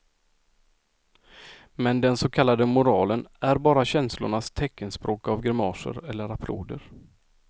Men den så kallade moralen är bara känslornas teckenspråk av grimaser eller applåder.